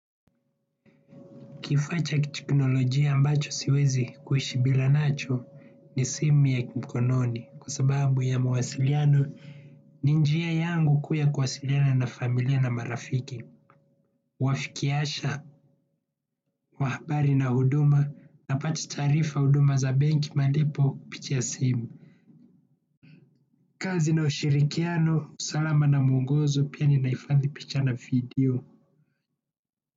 Kifaa cha kiteknolojia ambacho siwezi kuishi bila nacho ni simu ya mkononi kwa sababu ya mawasiliano, ni njia yangu kuu ya kuwasiliana na familia na marafiki. Wafikiasha, wa habari na huduma napata taarifa, huduma za benki, malipo picha ya simu. Kazi na ushirikiano, salama na muongozo pia ninahifadhi picha na video.